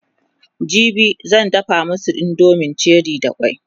jibi zan dafa masu indomin cherie da kwai